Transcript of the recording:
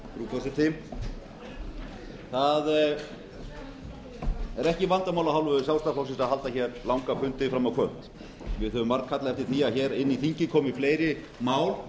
forseti það er ekki vandamál af hálfu sjálfstæðisflokksins að halda hér langa fundi fram á kvöld við höfum margkallað eftir því að hér inn í þingið komi fleiri mál frá